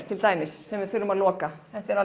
til dæmis sem við þurfum að loka þetta er